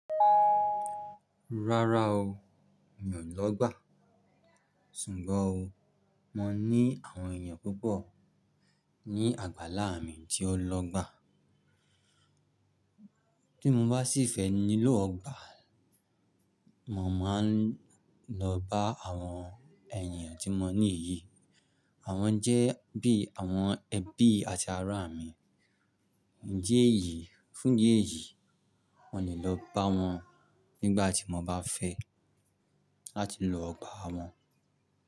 Rárá o, mi ò lọ́ gbà. Sùgbọ́n o, mo ní àwọn èèyàn púpọ̀ ní àgbàlá mi tí o lọ́ gbà. Bí mo bá sì fẹ́ nílò ọgbà, mo máa ń lọ bá àwọn èèyàn tí mo ní ìyí. Àwọn jẹ́ bí àwọn ẹbí àti ará mi. Idi eyìí, fún ídi eyìí, mo le lọ bá wọn nígbà tí mo bá fẹ́ láti lo ọgbà wọn.